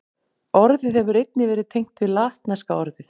Orðið hefur einnig verið tengt við latneska orðið